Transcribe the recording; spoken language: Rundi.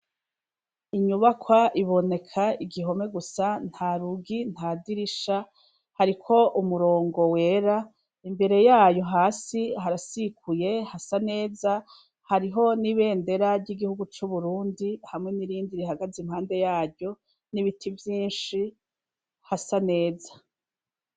Inyubakwa iboneka igihome gusa nta rugi nta dirisha hariko umurongo wera imbere yayo hasi harasikuye hasa neza hariho n'ibendera ry'igihugu c'uburundi hamwe n'irindi rihagaze impande yaryo n'ibiti vyinshi hasanea eza.